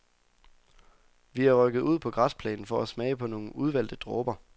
Vi er rykket ud på græsplænen for at smage på nogle udvalgte dråber.